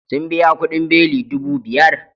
Sun biya kudin beli dubu biyar